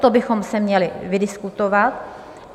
To bychom si měli vydiskutovat.